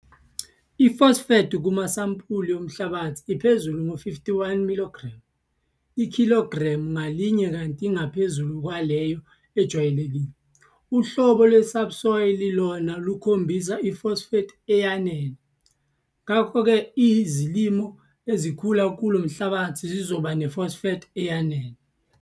Ifosfethi kumasampuli omhlabathi iphezulu ngo-51 mg ikhilogramu ngalinye kanti ingaphezu kwaleyo ejwayelekile. Uhlolo lwesubsoil lona lukhombisa ifosfethi eyanele, ngakho-ke izilimo ezikhula kulo mhlabathi zizoba nefosfethi eyanele.